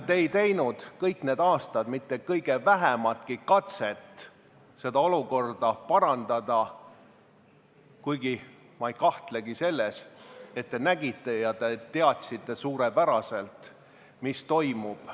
Ja kõik need aastad ei teinud te kõige vähematki katset seda olukorda parandada, kuigi ma ei kahtlegi selles, et te nägite ja teadsite suurepäraselt, mis toimub.